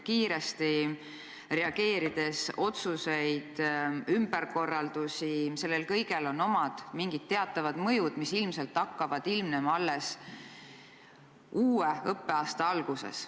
Kiiresti reageerides on tehtud otsuseid ja ümberkorraldusi ning sel kõigel on teatav mõju, mis ilmselt hakkab ilmnema alles uue õppeaasta alguses.